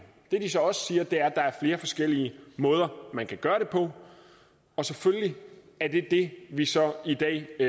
det de så også siger er at der er flere forskellige måder man kan gøre det på og selvfølgelig er det det vi så i dag